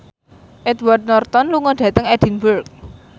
Edward Norton lunga dhateng Edinburgh